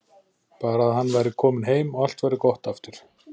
Bara að hann væri kominn heim og allt væri gott aftur.